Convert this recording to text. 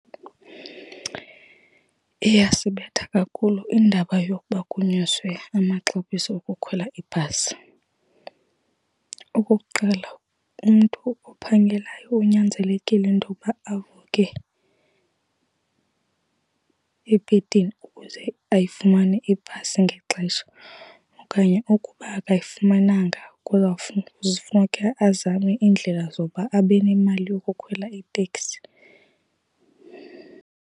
Iyasibetha kakhulu indaba yokuba kunyuswe amaxabiso okukhwela ibhasi. Okokuqala, umntu ophangelayo unyanzelekile intokuba avuke ebhedini ukuze ayifumane ibhasi ngexesha. Okanye ukuba akayifumananga azame iindlela zokuba abe nemali yokukhwela iteksi.